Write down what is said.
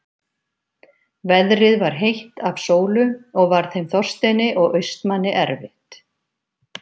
Veðrið var heitt af sólu og varð þeim Þorsteini og Austmanni erfitt.